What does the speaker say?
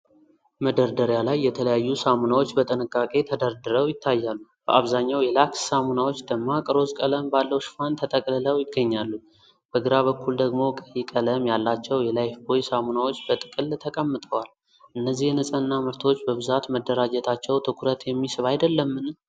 መደርደሪያ ላይ የተለያዩ ሳሙናዎች በጥንቃቄ ተደርድረው ይታያሉ። በአብዛኛው የላክስ ሳሙናዎች ደማቅ ሮዝ ቀለም ባለው ሽፋን ተጠቅልለው ይገኛሉ። በግራ በኩል ደግሞ ቀይ ቀለም ያላቸው የላይፍቦይ ሳሙናዎች በጥቅል ተቀምጠዋል። እነዚህ የንጽህና ምርቶች በብዛት መደራጀታቸው ትኩረት የሚስብ አይደለምን?